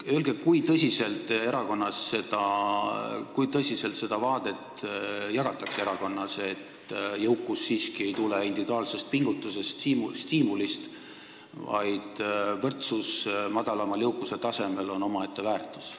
Öelge, kui tõsiselt jagatakse teie erakonnas seda arusaama, et jõukus ei tule individuaalsest pingutusest, stiimulist ning et võrdsus madalamal jõukuse tasemel on omaette väärtus!